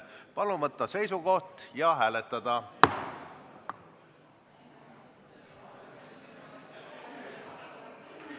Palun võtta seisukoht ja hääletada!